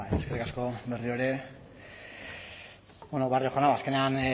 eskerrik asko berriro ere barrio jauna azkenean